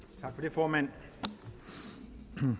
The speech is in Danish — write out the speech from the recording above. formand vi